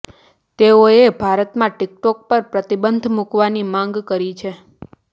તેઓએ ભારતમાં ટીકટોક પર પ્રતિબંધ મૂકવાની માંગ કરી છે